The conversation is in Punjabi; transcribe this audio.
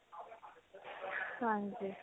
ਹਾਂਜੀ.